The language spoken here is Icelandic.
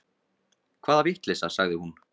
Hvaða vitleysa, sagði hún.